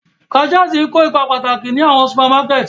Cashiers ń ko ipa pataki ni awọn supamakẹti.